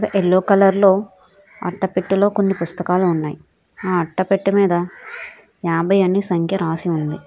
Yellow colour లో అట్టపెట్టలో కొన్ని పుస్తకాలు ఉన్నాయి ఆ అట్టపెట్ట మీద యాభై అని సంఖ్య రాసి ఉంది.